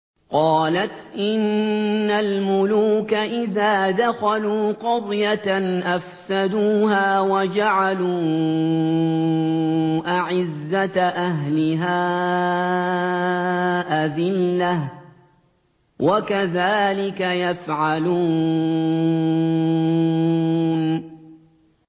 قَالَتْ إِنَّ الْمُلُوكَ إِذَا دَخَلُوا قَرْيَةً أَفْسَدُوهَا وَجَعَلُوا أَعِزَّةَ أَهْلِهَا أَذِلَّةً ۖ وَكَذَٰلِكَ يَفْعَلُونَ